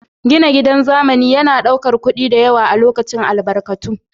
Gina gidan zamani yana ɗaukar kuɗi da yawa, lokaci da albarkatu